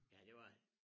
Ja det var han